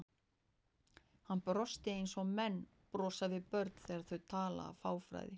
Hann brosti eins og menn brosa við börnum þegar þau tala af fáfræði.